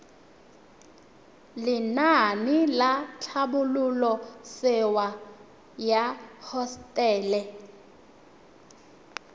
lenaane la tlhabololosewa ya hosetele